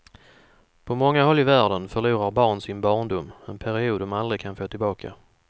På många håll i världen förlorar barn sin barndom, en period de aldrig kan få tillbaka.